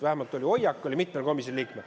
Vähemalt oli selline hoiak mitmel komisjoni liikmel.